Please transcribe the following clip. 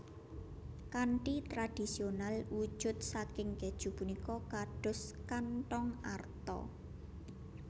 Kanthi tradisional wujud saking kèju punika kados kanthong arta